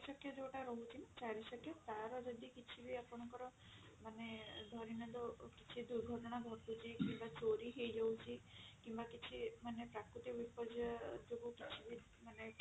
ଚାରି ଚକିଆ ଯୋଉଟା ରହୁଛି ଚାରି ଚକିଆ ତାର ଯଦି କିଛି ବି ଆପଙ୍କର ମାନେ ଧରିନିଅନ୍ତୁ କିଛି ଦୁର୍ଘଟଣା ଘଟୁଛି କିମ୍ବା ଚୋରି ହେଇଯାଉଛି କିମ୍ବା କିଛି ମାନେ ପ୍ରାକୃତିକ ବିପର୍ଜୟ ଯୋଗୁ ବି ମାନେ